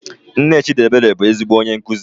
Nne Chidiebere bụ ezigbo onye nkuzi.